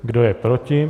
Kdo je proti?